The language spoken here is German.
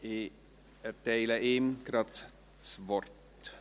Ich erteile ihm das Wort.